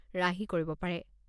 ৰাহি কৰিব পাৰে।